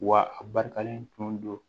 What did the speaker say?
Wa a barikalen tun don